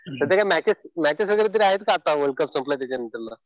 सध्या काही मॅचेस वगैरे तरी आहेत का आता वर्ल्ड कप संपला त्याच्यानंतर मग?